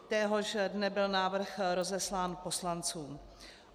Téhož dne byl návrh rozeslán poslancům.